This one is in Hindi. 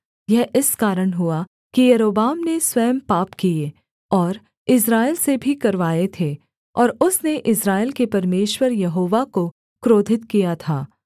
यह इस कारण हुआ कि यारोबाम ने स्वयं पाप किए और इस्राएल से भी करवाए थे और उसने इस्राएल के परमेश्वर यहोवा को क्रोधित किया था